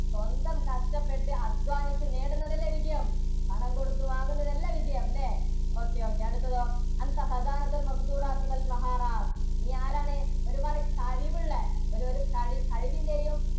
സ്വന്തം കഷ്ടപ്പെട്ട് അധ്വാനിച്ച് നേടുന്നത് അല്ലേ വിജയം? പണം കൊടുത്തു വാങ്ങുന്നതല്ല വിജയം അല്ലേ? ഓക്കെ ഓക്കെ അടുത്തതോ നീ ആരാണ്? ഒരുപാട് കഴിവുള്ള ഒരു ഒരു കഴിവിന്റെയും